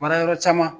Mara yɔrɔ caman